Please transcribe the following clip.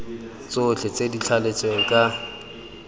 tsotlhe tse di thaletsweng ka